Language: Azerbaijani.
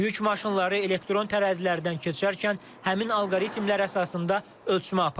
Yük maşınları elektron tərəzilərdən keçərkən həmin alqoritmlər əsasında ölçmə aparılır.